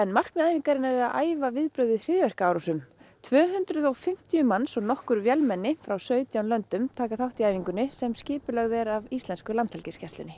markmið æfingarinnar er að æfa viðbrögð við hryðjuverkaárásum tvö hundruð og fimmtíu manns og nokkur vélmenni frá sautján löndum taka þátt í æfingunni sem skipulögð er af íslensku Landhelgisgæslunni